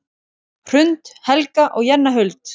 Hrund, Helga og Jenna Huld.